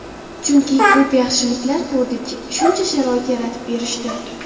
Chunki ko‘p yaxshiliklar ko‘rdik, shuncha sharoit yaratib berishdi.